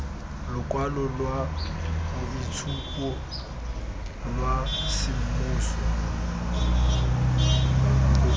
lokwalo lwa boitshupo lwa semmuso